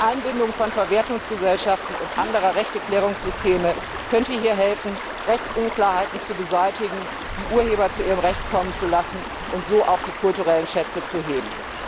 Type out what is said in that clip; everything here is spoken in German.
Die Einbindung von Verwertungsgesellschaften und anderer Rechteklärungssysteme könnte hier helfen, Rechtsunklarheiten zu beseitigen, die Urheber zu ihrem Recht kommen zu lassen und so auch die kulturellen Schätze zu heben.